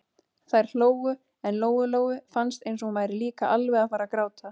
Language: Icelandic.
Þær hlógu, en Lóu-Lóu fannst eins og hún væri líka alveg að fara að gráta.